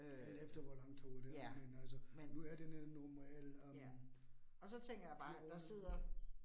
Alt efter hvor langt toget er, men altså nu er det normale øh 14